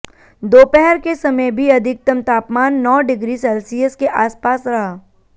दोपहर के समय भी अधिकतम तापमान नौ डिग्री सेल्सियस के आसपास रहा